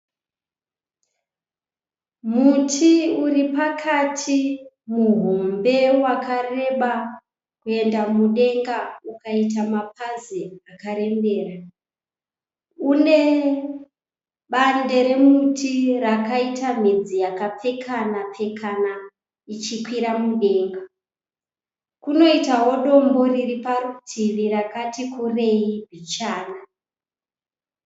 Muti uri pakati muhombe wakareba kuenda mudenga ukaita mapazi akarembera. Une bande remuti rakaita midzi yakapfekana pfekana ichikwira mudenga. Kunoitawo dombo riri parutivi rakati kurei bichana.